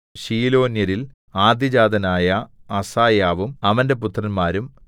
ശീലോന്യരിൽ ആദ്യജാതനായ അസായാവും അവന്റെ പുത്രന്മാരും